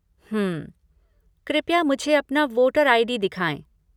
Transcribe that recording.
हम्म। कृपया मुझे अपना वोटर आई.डी. दिखाएं।